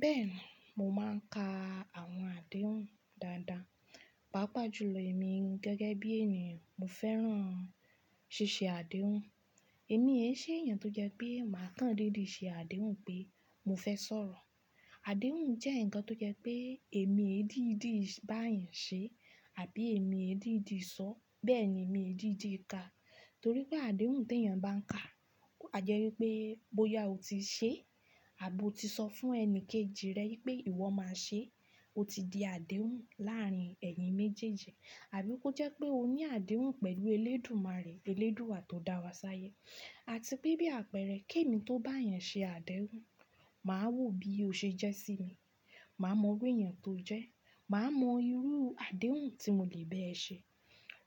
Bẹ́ẹ̀ni, mò mà ń ka àwọn àdéhùn dáadáa. Pápá jù lọ èmi gẹ́gẹ́ bí ènìyàn, mo fẹ́ràn ṣíṣé àdéhùn. Èmi è ṣe èèyàn tó jẹ́ pé màá kan dídì ṣe àdéhùn pé mo fẹ́ sọ̀rọ̀. Àdéhùn jẹ́ ǹkan tó jẹ́ pé èmi è dídì bá èèyàn ṣe àbí èmi è dídì sọ, bẹ́ẹ̀ ni èmi è dídì ka. Torí pé àdéhùn tí èèyàn bá ń ka, a jẹ́ wípé bóyá o ti ṣe àbo ti sọ fún ẹni kejì rẹ wípé ìwọ máa ṣe, ó ti di àdéhùn láàrin ẹ̀yin méjèèjì. Àbí ó jẹ́ pé o ní àdéhùn pẹ̀lú Elédùmarè, Eléédùà tó dá wa ṣáyé. Àti pé bí àpẹẹrẹ, kí èmi tó bá èèyàn ṣe àdéhùn, màá wò bí ó ṣe jẹ́ sí mi, màá mọ irú èèyàn tó jẹ́, màá mọ irú àdéhùn tí mo lè bẹ́ẹ̀ ṣe.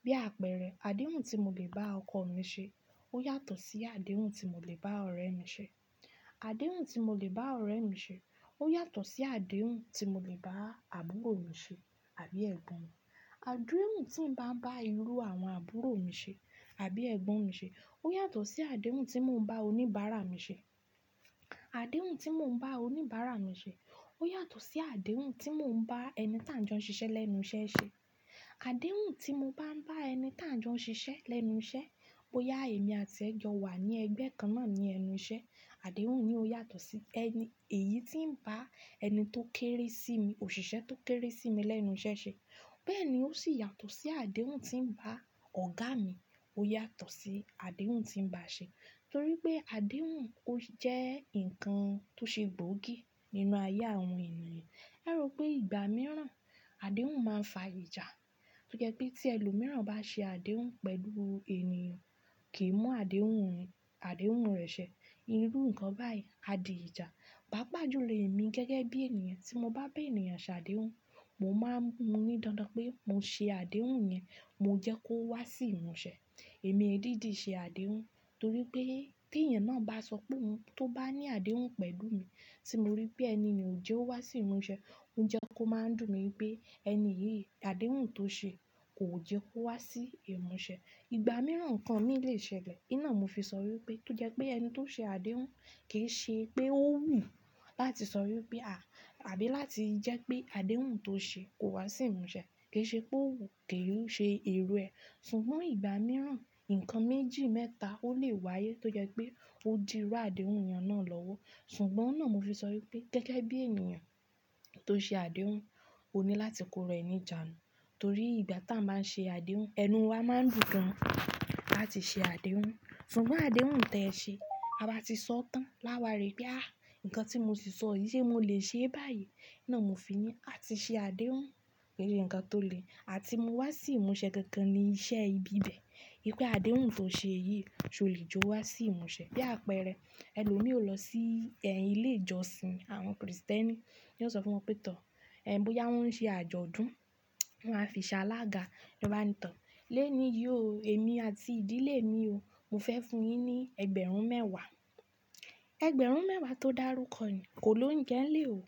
Bí àpẹẹrẹ, àdéhùn tí mo lè bá ọkọ mi ṣe ó yàtọ̀ sí àdéhùn tí mo lè bá ọ̀rẹ́ mi ṣe. Àdéhùn tí mo lè bá ọ̀rẹ́ mi ṣe ó yàtọ̀ sí àdéhùn tí mo lè bá àbúrò mi ṣe àbí ẹ̀gbọ́n mi. Àdéhùn tí ń bá ń bá irú àwọn àbúrò mi ṣe àbí ẹ̀gbọ́n mi ṣe ó yàtọ̀ sí àdéhùn tí mò ń bá oníbàárà mi ṣe. Àdéhùn tí mò ń bá oníbàárà mi ṣe ó yàtọ̀ sí àdéhùn tí mò ń bá ẹni tí àń jọ ń ṣiṣẹ́ lẹ́nu iṣẹ́ ṣe. Àdéhùn tí mo bá ń bá ẹni tà n jọ ń ṣiṣẹ́ lẹ́nu iṣẹ́, bóyá èmi àti ẹ̀ jọ wà ní ẹgbẹ́ kan náà ní ẹnu iṣẹ́, àdéhùn yìí ó yàtọ̀ sí èyí tí ń bá ẹni tó kéré sí mi, òṣìṣẹ́ tó kéré sí mi lẹ́nu iṣẹ́ ṣe. Bẹ́ẹ̀ ni ó sì yàtọ̀ sí àdéhùn tí ń bá ọ̀gá mi, ó yàtọ̀ sí àdéhùn tí ń bá a ṣe. Torí pé àdéhùn ó jẹ́ ǹkan tó ṣe gbóògì nínú ayé àwọn ènìyàn. A rò pé ìgbà mìíràn àdéhùn máa ń fa ìjà. Tó jẹ́ pé tí ẹlòmíràn bá ṣe àdéhùn pẹ̀lú èniyàn, kì í mú àdèhùn, àdéhùn rẹ̀ ṣẹ. Irú ǹkan báyìí á di ìjà. Pápá jù lọ èmi gẹ́gẹ́ bí ènìyàn tí mo bá bá ènìyàn ṣe àdéhùn, mò máa n mù ní dandan pé mo ṣe àdéhùn yẹn, mo jẹ́ kó wá sí ìmúṣẹ. Èmi ẹ dídì ṣe àdéhùn torí pé tí èèyàn náà bá sọ pé óhun, tó bá ní àdéhùn pẹ̀lú mi, tí mo rí pé ẹni ni ò jẹ́ ó wá sí ìmúṣẹ, ó jẹ́ kó máa ń dùn mí pé ẹni yìí àdéhùn tó ṣe kò jẹ́ kó wá sí ìmúṣẹ. Ìgbà mìíràn ǹkan mì lè ṣẹlẹ̀. Iná mo fi sọ wípé tó jẹ́ pé ẹni tó ṣe àdéhùn kì í ṣe pé ó wù láti sọ wípé à, àbí láti jẹ́ pé àdéhùn tó ṣe kò wá sí ìmúṣẹ. Kì í ṣe pé òwú kì í ṣe èrò ẹ. Ṣùgbọ́n ìgbà mìíràn ǹkan méjì mẹ́ta ó lè wáyé tó jẹ́ pé ó di rú àdéhùn èèyàn náà lọ́wọ́. Ṣùgbọ́n náà mo fi sọ wípé gẹ́gẹ́ bí ènìyàn tó ṣe àdéhùn, o ní láti kó rẹ nì jàánu. Torí ìgbà táa ń máa ṣe àdéhùn, ẹnu wa máa ń dùn gan láti ṣe àdéhùn. Ṣùgbọ́n àdéhùn tẹ ṣe, a bá ti sọ tán láwàárí pé àá, ǹkan tí mo si sọ yìí ṣé mo lè ṣe báyìí? Iná mo fi ní àti ṣe àdéhùn, è àn ǹkan tó le àti mú wá sí ìmúṣẹ gangan ní iṣẹ́ ibi bẹ́ẹ̀. Wípé àdéhùn tó ṣe yìí ṣé o lè jó wá sí ìmúṣẹ? Bí àpẹẹrẹ, ẹlòmíì o lọ sí ẹ̀yin ilé ìjọsìn àwọn Krìstẹ́nì yò sọ fún wọn pé tọ̀, ẹ bóyá wọ́n ń ṣe àjọ̀dún, wọ́n á fi ṣàlágà lò bá ń tàn. Lẹ́ní yii o, èmi àti ìdílé mi o, mo fẹ́ fún yín ní ẹgbẹ̀rún mẹ́wàá. Ẹgbẹ̀rún mẹ́wàá tó dàrúkọ ni kò lóúnje ńlè o.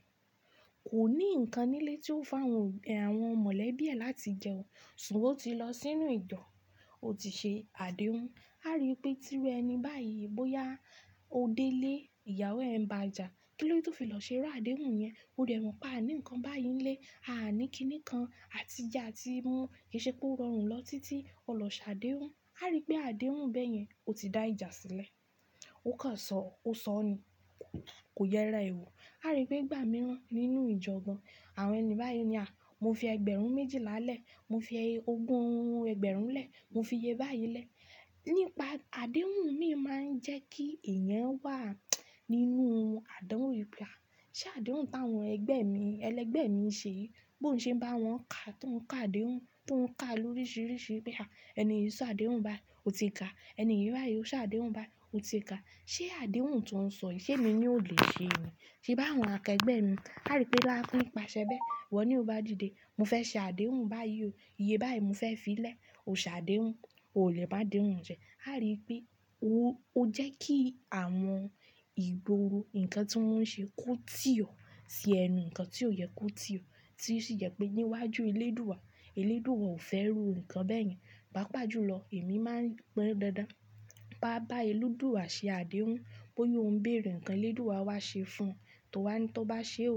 Kò ní ǹkan nílé tí ó fàwọ́n obi, àwọn mọ̀lẹ́bí ẹ láti jẹun. Ṣùgbọ́n ó ti lọ sínú ìjo, ó ti ṣe àdéhùn. A rí i wipé tí irú ẹni báyìí bóyá ó dé ilé ìyàwó ẹ ń bàjà, kílóde to fi lọ ṣe irú àdéhùn yẹn? Ó dẹ̀ mọ́n pe a ní ǹkan báyìí nílé, a ní kíní kan àtije atimú kì í ṣe pé ó rọrùn lọ títí ó lọ ṣe àdéhùn. A rí pé àdéhùn bẹ́yẹn ó ti dá ìjà sílẹ̀. Ó kan ṣọ, ó sọ ni, kò yẹra e wọ. A rí pé ìgbà mìíran nínú ìjọ gan àwọn ẹni báyìí ni àá, mo fi ẹgbẹ̀rún méjìla lẹ́, mo fi ogún ẹgbẹ̀rún lẹ́ẹ̀, mo fi iye báyìí lẹ́ẹ̀. Nípa àdéhùn mi máa ń jẹ́ kí ẹ̀yẹn wà nínú àdánwò wipé à, ṣé àdéhùn táwọn ẹgbẹ́ mi, ẹlẹgbẹ́ mi ṣeyi, bó ń ṣe bá wọn ka tó ń ka àdéhùn, tó ń ka lórísirísí i pé à ẹni yìí ṣọ àdéhùn bái, ó ti ka. Ẹni yìí báyìí ó ṣọ àdéhùn bái, ó ti ka. Ṣé àdéhùn tó ń sọ yìí ṣé èmi ni ò lè ṣe ni? Ṣé bá àwọn akẹgbẹ́ mi, a rí pé bá fún ní pàṣẹ bẹ́ẹ̀, niwona o bá dìde, mo fẹ́ ṣe àdéhùn báyìí o, iye báyìí mo fẹ́ fi lẹ́ẹ̀, o ṣe àdéhùn, o lè bá àdéhùn jẹ. A rí pé ó, ó jẹ́ kí àwọn ìgboro ǹkan tí wọ́n ń ṣe ko tí ọ̀ sí ẹnu ǹkan tí ó yẹ kú tí ọ̀. Tí ó sì jẹ́ pé níwájú Elédùà, Elédùà ò fẹ́ rú ǹkan bẹ́ẹ̀ yẹn. Pápá jù lọ èmi máa ń gbọ́n dáadáa. Ba bá Elédùà ṣe àdéhùn, bóyá ó ń bèèrè ǹkan Elédùà wá ṣe fún o, tó wa ni tó bá ṣe ò.